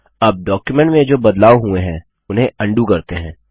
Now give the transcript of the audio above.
अब डॉक्युमेंट में जो बदलाव हुए है उन्हें अन्डू करते हैं